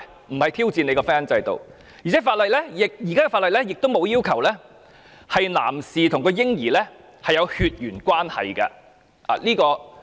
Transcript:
我們並非挑戰婚姻制度，而且現行法例亦沒有要求男士需要與嬰兒有血緣關係。